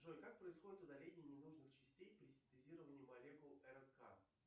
джой как происходит удаление не нужных частей при синтезировании молекул рнк